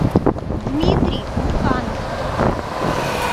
дмитрий муканов